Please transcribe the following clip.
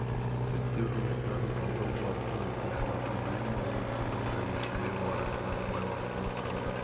зерттеу жұмыстарын талдау барысында оқушылардың білім алуы тыңдауы және сөйлеуі арасындағы байланыс анықталды